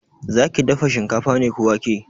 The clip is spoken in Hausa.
Zaki dafa shinkafa ne ko wake?